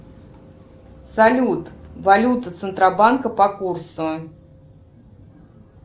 салют валюта центробанка по курсу